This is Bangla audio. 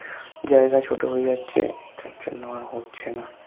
যায়গা ছোটো হয়ে যাচ্ছে যার জন্য আর হচ্ছেনা